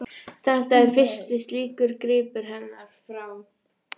Þetta er fyrsti slíkur gripur hennar, frá